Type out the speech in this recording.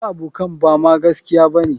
waɗansu abokan Bama gaskiya bane.